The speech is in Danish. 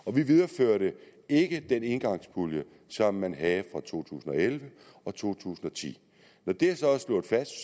og vi videreførte ikke den engangspulje som man havde for to tusind og elleve og to tusind og ti når det så er slået fast